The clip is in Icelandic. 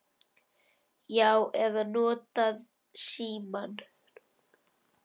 Já. eða notað símann.